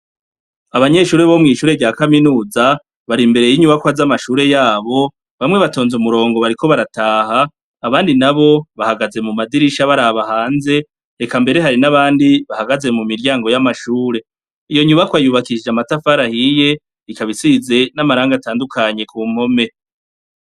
Abanyeshure bo mw'ishure rya kaminuza bari imbere y'inyubakwa z'amashure yabo bamwe batonze umurongo bariko barataha abandi na bo bahagaze mu madirisha barabahanze heka mbere hari n'abandi bahagaze mu miryango y'amashure iyo nyubako ayubakishije amatafarahiye rikabisize n'amaranga atandukanye ku mpome.